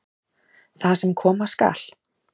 Það sem koma skal